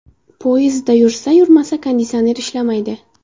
Poyezdda yursa-yurmasa konditsioner ishlamaydi.